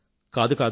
కాదు కాదు